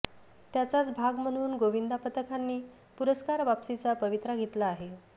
त्याचाच भाग म्हणुन गोविंदा पथकांनी पुरस्कार वापसीचा पवित्रा घेतला आहे